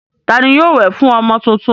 Ta ni yóò wẹ̀ fún ọmọ tuntun?